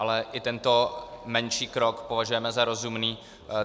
Ale i tento menší krok považujeme za rozumný.